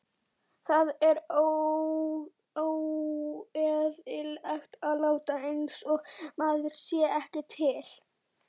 Það er óeðlilegt að láta einsog maður sé ekki til.